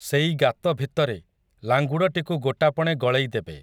ସେଇ ଗାତ ଭିତରେ, ଲାଙ୍ଗୁଡ଼ଟିକୁ ଗୋଟାପଣେ ଗଳେଇ ଦେବେ ।